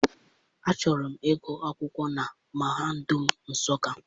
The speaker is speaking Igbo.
Achọrọ m ịgụ akwụkwọ na mahadum Nsụka.